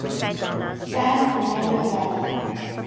san fernando valley